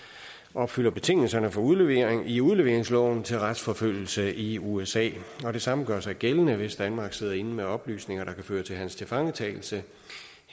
opfylder betingelserne for udlevering i udleveringsloven til retsforfølgelse i usa det samme gør sig gældende hvis danmark sidder inde med oplysninger der kan føre til hans tilfangetagelse